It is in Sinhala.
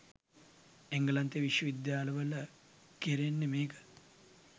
එංගලන්තේ විශ්ව විද්‍යාල වල කෙරෙන්නේ මේක